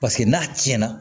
Paseke n'a cɛn na